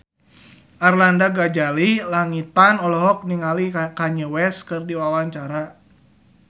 Arlanda Ghazali Langitan olohok ningali Kanye West keur diwawancara